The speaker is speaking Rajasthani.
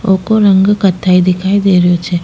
वोको रंग कथई दिखाई दे रो छे।